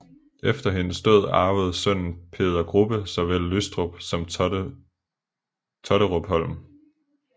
Efter hendes død arvede sønnen Peder Grubbe såvel Lystrup som Totterupholm